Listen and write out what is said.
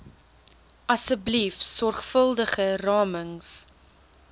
asseblief sorgvuldige ramings